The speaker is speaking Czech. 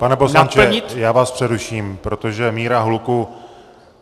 Pane poslanče, já vás přeruším, protože míra hluku...